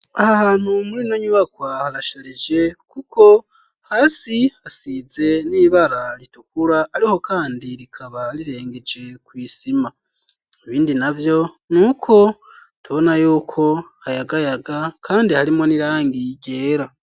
Ahantu muri ino nyubaka harasharije kuko hasi hasize n'ibara ritukura, ariko kandi rikaba rirengeje kw'isima. Ibindi navyo ni uko tubona yuko hayagayaga kandi harimwo n'irangi ryera.